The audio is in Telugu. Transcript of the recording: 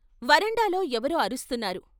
వరండాలో ఎవరో అరుస్తున్నారు.